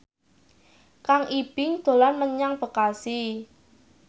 Kang Ibing dolan menyang Bekasi